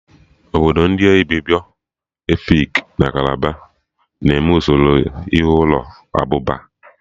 Ọbụ ndị Ibibio, Efik na Kalabari na-eme usoro ihe ụlọ abụba